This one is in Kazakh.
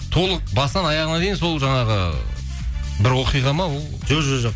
толық басынан аяғына дейін сол жаңағы бір оқиға ма ол жоқ